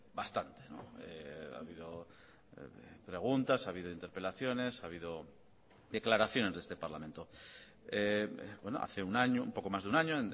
bastante ha habido preguntas ha habido interpelaciones ha habido declaraciones de este parlamento hace un año un poco más de un año